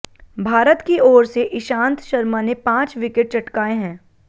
भारत की ओर से ईशांत शर्मा ने पांच विकेट चटकाए हैं